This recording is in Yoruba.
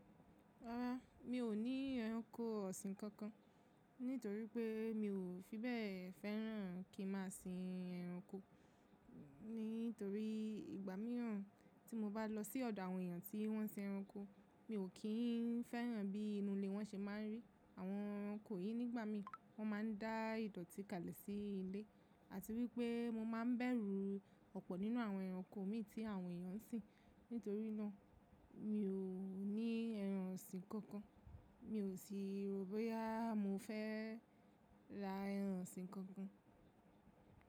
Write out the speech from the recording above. Rárá, mi ò ní ẹranko ọ̀sìn kankan, nítorí pé mi ò fi bẹ́ẹ̀ fẹ́ràn kí n má sìn ẹranko. Nítorí ìgbà mìíràn tí mo bá lọ sí ọ̀dọ̀ àwọn èèyàn tí wọ́n n sìn ẹranko, mi ò kí n fẹ́ràn bí inú ilé wọn ṣe máa ń rí. Àwọn ẹranko yìí nígbà mi, wọ́n máa ń dá ìdọ̀tí kalẹ̀ sí ilé, àti wípé mo máa ń bẹ̀rù ọ̀pọ̀ nínú àwọn ẹranko mi tí àwọn èèyàn ń sìn. Nítorí náà, mi ò ní ẹran ọ̀sìn kankan. Mi ò sì rò bóyá mo fẹ́ ra ẹran ọ̀sìn kankan.